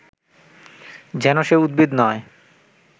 যেন সে উদ্ভিদ নয়